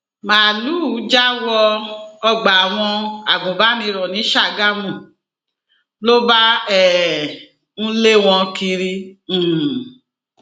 máàlùú já wọ ọgbà àwọn agùnbànìrò ní ṣàgámù ló bá um ń lé wọn kiri um